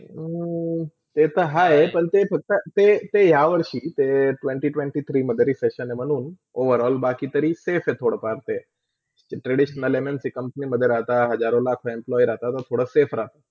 हो, ते तर हय, पण ते फक्त ते ते यहा वर्षी ते twenty, twenty- three Overall बाकी तरी safe आहे थोडा फारते traditional, MLTcompany मधे राहता हजारो, लाखो employee राहता तर थोडा safe राहता.